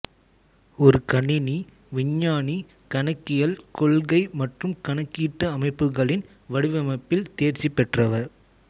ஒரு கணினி விஞ்ஞானி கணக்கியல் கொள்கை மற்றும் கணக்கீட்டு அமைப்புகளின் வடிவமைப்பில் தேர்ச்சி பெற்றவர்